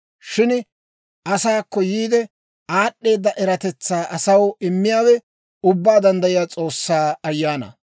Shin asaakko yiide, aad'd'eeda eratetsaa asaw immiyaawe Ubbaa Danddayiyaa S'oossaa Ayaanaa.